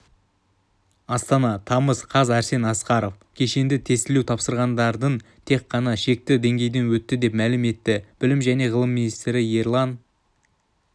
астана тамыз қаз арсен асқаров кешенді тестілеу тапсырғандардың тек ғана шекті деңгейден өтті деп мәлім етті білім және ғылым министрі ерлан